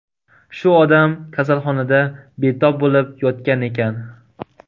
Shu odam kasalxonada betob bo‘lib yotgan ekan.